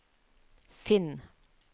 finn